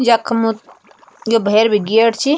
यखम यू भैर भी गेट च।